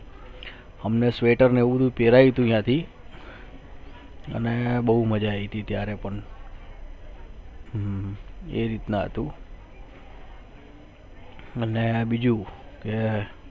હમને Sweater માં હું પર્યુ નથી અને બહુ મજા આવી છે અત્યારે પણ મને આ બીજું કે